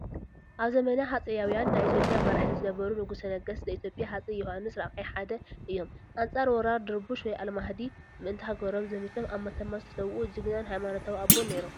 ኣብ ዘመነ ሃፀያውን ናይ ኢ/ያ መራሒ ዝነበሩ ንጉሰ ነገስት ዘ-ኢትዮጵያ ሃፀይ ዮሃንስ 4ይ ሓደ እዮም፡፡ ኣንፃር ወራር ድርቡሽ/ኣልማህዲ ምእንተ ሃገሮም ዘሚቶም ኣብ መተማ ዝተሰውኡ ጅግናን ሃይማኖታዊ ኣቦን ነይሮም፡፡